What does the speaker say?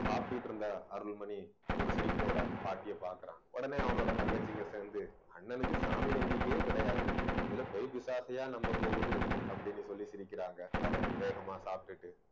சாப்பிட்டுட்டு இருந்த அருள்மணி ஒரு சிரிப்போட பாட்டியை பார்க்கிறான். உடனே அவனோட தங்கச்சிங்க சேர்ந்து அண்ணனுக்கு சாமி நம்பிக்கையே கிடையாது. இதுல பேய் பிசாசையா நம்ப போகுது அப்பிடின்னு சொல்லி சிரிக்கிறாங்க அவன் வேகமா சாப்பிட்டுட்டு